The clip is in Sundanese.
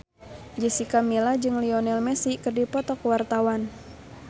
Jessica Milla jeung Lionel Messi keur dipoto ku wartawan